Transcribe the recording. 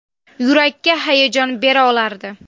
Yurakka hayajon bera olardi.